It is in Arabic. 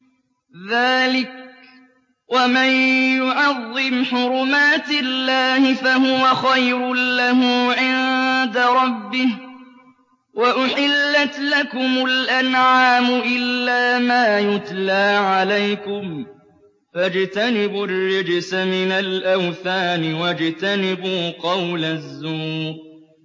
ذَٰلِكَ وَمَن يُعَظِّمْ حُرُمَاتِ اللَّهِ فَهُوَ خَيْرٌ لَّهُ عِندَ رَبِّهِ ۗ وَأُحِلَّتْ لَكُمُ الْأَنْعَامُ إِلَّا مَا يُتْلَىٰ عَلَيْكُمْ ۖ فَاجْتَنِبُوا الرِّجْسَ مِنَ الْأَوْثَانِ وَاجْتَنِبُوا قَوْلَ الزُّورِ